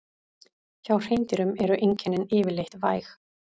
Hjá hreindýrum eru einkennin yfirleitt væg.